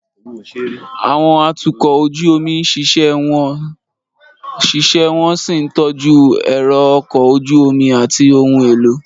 Àwọn atukọ̀ ojú omi ń ṣiṣẹ́ wọ́n sì ń tọ́jú ẹ̀rọ ọkọ̀ ojú omi àti ohun èlò.